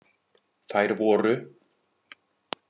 Þær voru: